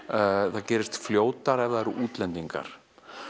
það gerist fljótar ef það eru útlendingar